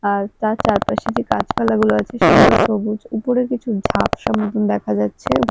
আর তার চারপাশে যে গাছপালাগুলো আছে সেগুলো সবুজ উপরে কিছু ঝাপসা মতন দেখা যাচ্ছে।